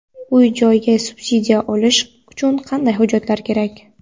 Uy-joyga subsidiya olish uchun qanday hujjatlar kerak?.